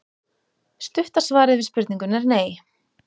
Stutta svarið við spurningunni er nei.